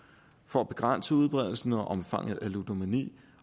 for at begrænse udbredelsen og omfanget af ludomani